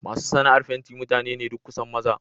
Masu sana'ar fenti mutane ne duk kusan maza.